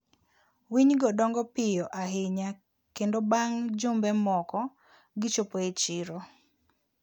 winy go dongo piyo ahinya kendo bang' jumbe moko, gichopo e chiro.